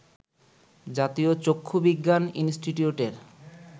জাতীয় চক্ষু বিজ্ঞান ইনষ্টিটিউটের